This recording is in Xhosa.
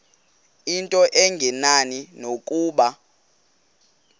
into engenani nokuba